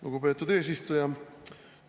Lugupeetud eesistuja!